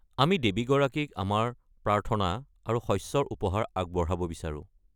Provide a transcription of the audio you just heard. আমি দেৱীগৰাকীক আমাৰ প্ৰাৰ্থনা আৰু শস্যৰ উপহাৰ আগবঢ়াব বিচাৰোঁ।